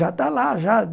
Já está lá já.